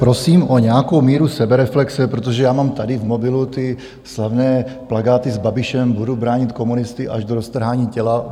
Prosím o nějakou míru sebereflexe, protože já mám tady v mobilu ty slavné plakáty s Babišem: "Budu bránit komunisty až do roztrhání těla.